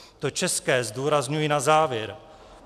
To české zdůrazňuji na závěr.